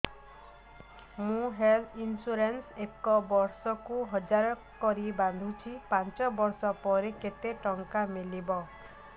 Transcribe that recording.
ମୁ health insurance ଏକ ବର୍ଷକୁ ହଜାର କରି ବାନ୍ଧୁଛି ପାଞ୍ଚ ବର୍ଷ ପରେ କେତେ ଟଙ୍କା ମିଳିବ